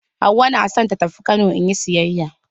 Hauwa na so ta tafi Kano in yi sayayya.